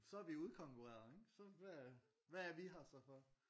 Så er vi jo udkonkurreret ikke? Så hvad hvad er vi her så for?